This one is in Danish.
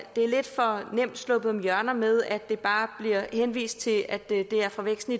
det er lidt for nemt at slippe om hjørnet med bare at henvise til at det er fra væksten